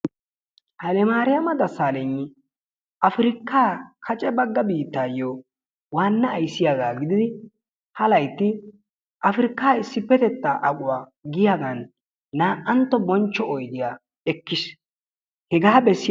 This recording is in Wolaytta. Hayilemaariyama Dessaalegni afirkkaa kace bagga biittaayyoo waanna ayssiyaagaa gididi ha laytti Afirkaa issippetettaa aquwaa giyaagan naa"antto bonchcho oydiyaa ekkis.